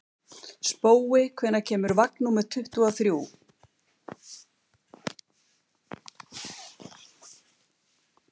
Spói, hvenær kemur vagn númer tuttugu og þrjú?